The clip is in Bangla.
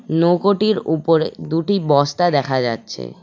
নৌকোটির উপরে দুটি বস্তা দেখা যাচ্ছে।